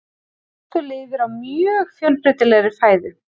Þorskur lifir á mjög fjölbreytilegri fæðu.